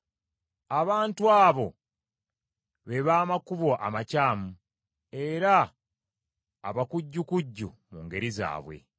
abantu abo be b’amakubo amakyamu, era abakujjukujju mu ngeri zaabwe.